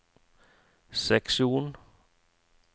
seksjon